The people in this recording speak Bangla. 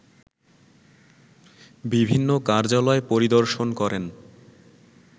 বিভিন্ন কার্যালয় পরিদর্শন করেন